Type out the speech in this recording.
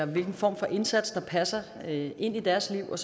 hvilken form for indsats der passer ind i deres liv og